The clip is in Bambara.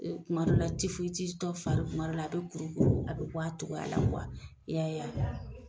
tuma dɔw la tifoyitis tɔ fari tuma dɔw la a be kuru kuru, a be bɔ a cɔgɔya la , i y'a ye a?